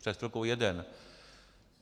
Před chvilkou jeden.